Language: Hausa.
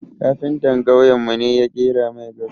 Kafinta kauyen mu ne ƙera mai gado